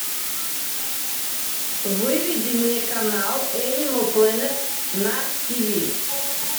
выведи мне канал энимал плэнет на тиви